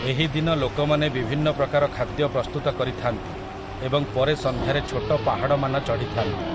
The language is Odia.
ଏହି ଦିନ ଲୋକମାନେ ବିଭିନ୍ନ ପ୍ରକାର ଖାଦ୍ୟ ପ୍ରସ୍ତୁତ କରିଥାନ୍ତି ଏବଂ ପରେ ସନ୍ଧ୍ୟାରେ ଛୋଟ ପାହାଡ଼ମାନ ଚଢ଼ିଥାନ୍ତି ।